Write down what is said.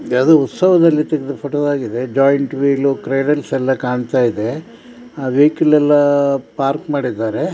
ಯಾವುದೋ ಉತ್ಸವದಲ್ಲಿ ಇಟ್ಟಿದ ಫೋಟೋದಾಗಿದೆ ಜಯಂಟ್ ವೀಲ್ ಎಲ್ಲ ಕಾಣ್ತಾ ಇದೆ ಅಹ್ ವೆಹಿಕಲ್ ಎಲ್ಲ ಪಾರ್ಕ್ ಮಾಡಿದ್ದಾರೆ .